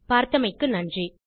பார்தமைக்கு நன்றி